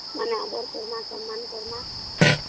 ମାନେ ଆଦର କରିବା ସମ୍ମାନ କରିବା